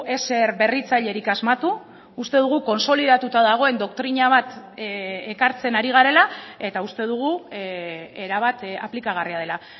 ezer berritzailerik asmatu uste dugu kontsolidatuta dagoen doktrina bat ekartzen ari garela eta uste dugu erabat aplikagarria dela